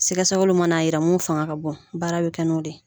Siga sɛgɛliw mana yira mun fanga ka bon baara bɛ kɛ n'o de ye.